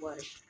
Wari